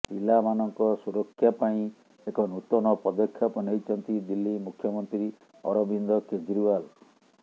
ପିଲାମାନଙ୍କ ସୁରକ୍ଷା ପାଇଁ ଏକ ନୂତନ ପଦକ୍ଷେପ ନେଇଛନ୍ତି ଦିଲ୍ଲୀ ମୁଖ୍ୟମନ୍ତ୍ରୀ ଅରବିନ୍ଦ କେଜ୍ରିୱାଲ